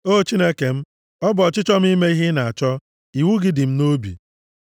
O Chineke m, ọ bụ ọchịchọ m ime ihe ị na-achọ, iwu gị dị nʼime obi m.”